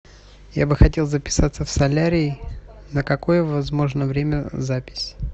я бы хотел записаться в солярий на какое возможно время запись